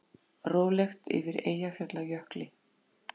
Rólegt yfir Eyjafjallajökli